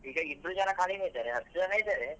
ಈಗ ಇಬ್ರು ಜನ ಕಡಿಮೆ ಇದ್ದಾರೆ ಹತ್ತ್ ಜನ ಇದ್ದಾರೆ.